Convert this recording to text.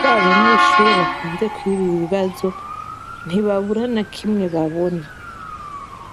ba banyeshure bakunze kwiba ibibazo ntibabura nakimwe babona.